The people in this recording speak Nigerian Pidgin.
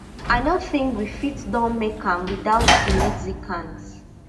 i no think we fit don make am without di mexicans